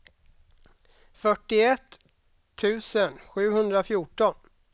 fyrtioett tusen sjuhundrafjorton